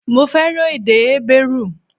Mo fẹ́ràn èdè Hébérù